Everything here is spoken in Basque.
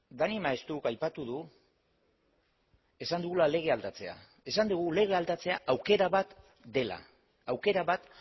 dani maeztuk aipatu du esan dugula lege aldatzea esan dugu lege aldatzea aukera bat dela aukera bat